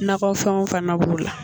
Nakɔfɛnw fana b'o la